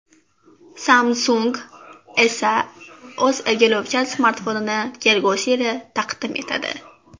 Samsung esa o‘z egiluvchan smartfonini kelgusi yili taqdim etadi.